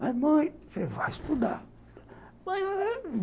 Mas, mãe, você vai estudar.